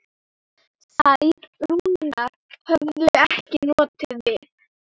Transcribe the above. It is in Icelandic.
Særúnar hefði ekki notið við.